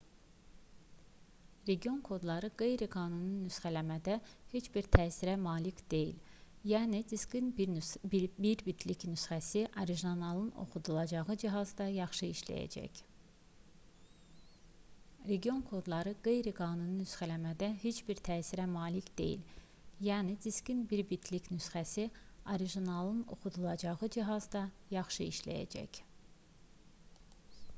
region kodları qeyri-qanuni nüsxələmədə heç bir təsirə malik deyil yəni diskin bir bitlik nüsxəsi orijinalın oxudulacağı cihazda yaxşı işləyəcək